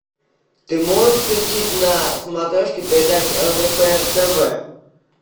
ты можешь включить на смотрешке передачу лдпр тв